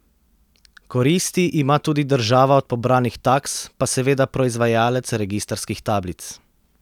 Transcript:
Koristi ima tudi država od pobranih taks, pa seveda proizvajalec registrskih tablic.